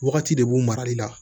Wagati de b'u marali la